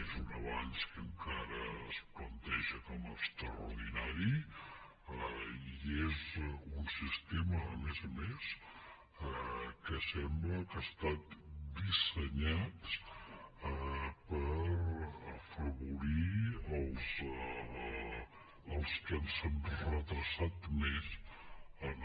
és un avenç que encara es planteja com a extraordinari i és un sistema a més a més que sembla que ha estat dissenyat per afavorir els que ens han retardat més en